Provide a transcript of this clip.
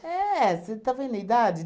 É! Você está vendo a idade?